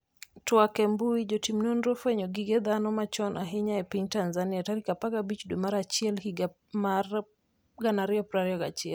twak e mbui, Jotim nonro ofwenyo gige dhano machon ahinya e piny Tanzania tarik 15 dwe mar achiel higa mar 2021